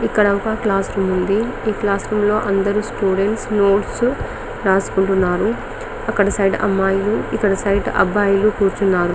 ఇక్కడ ఒక class room ఉంది ఈ క్లాస్ రూమ్ లో అందరు స్టూడెంట్స్ నోట్స్ రాసుకుంటున్నారు అక్కడ సైడ్ అబ్బాయిలు ఇక్కడ సైడ్ అమ్మాయిలు కూర్చున్నారు